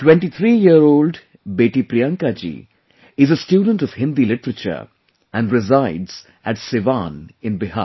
23 year old Beti Priyanka ji is a student of Hindi literature and resides at Siwan in Bihar